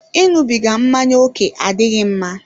Ịṅụbiga mmáñyá oke adịghị mma